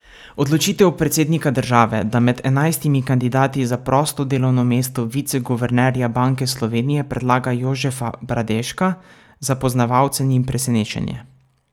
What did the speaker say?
Odločitev predsednika države, da med enajstimi kandidati za prosto delovno mesto viceguvernerja Banke Slovenije predlaga Jožefa Bradeška, za poznavalce ni presenečenje.